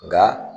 Nka